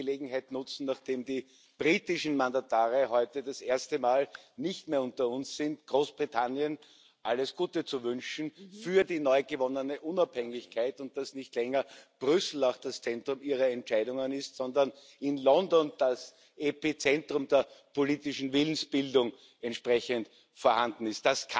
Ich möchte die Gelegenheit nutzen, nachdem die britischen Mandatare heute zum ersten Mal nicht mehr unter uns sind, Großbritannien alles Gute zu wünschen für die neu gewonnene Unabhängigkeit und dass nicht länger Brüssel das Zentrum ihrer Entscheidungen ist, sondern in London das Epizentrum der politischen Willensbildung entsprechend vorhanden ist.